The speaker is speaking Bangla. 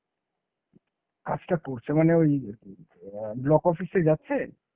কাজটা করছে মানে ওই অ্যাঁ block office এ যাচ্ছে।